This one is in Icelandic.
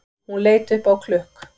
Hún leit upp á klukk